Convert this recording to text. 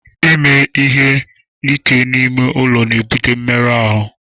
Ime ihe ike n'ime ụlọ na-ebute mmerụ ahụ.